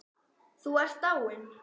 Þú ert dáinn.